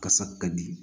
Kasa ka di